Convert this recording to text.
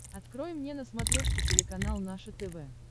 открой мне на смотрешке телеканал наше тв